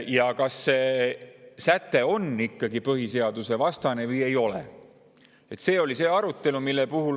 kas see säte on põhiseadusvastane või ei ole.